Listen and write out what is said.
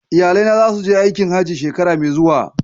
Iyalai na zasu je aikin Hajji shekara mai zuwa.